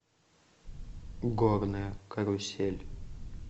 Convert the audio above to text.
горная карусель